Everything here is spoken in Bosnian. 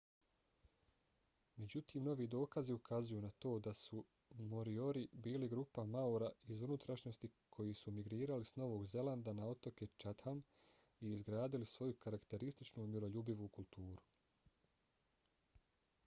međutim novi dokazi ukazuju na to da su moriori bili grupa maora iz unutrašnjosti koji su migrirali s novog zelanda na otoke chatham i izgradili svoju karakterističnu miroljubivu kulturu